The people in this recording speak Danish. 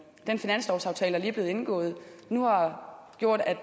den finanslovsaftale der lige er blevet indgået nu har gjort